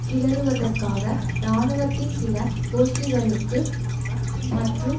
கிளறுவதற்காக இராணுவத்தின் சில கோஷ்டிகளுக்கு மற்றும்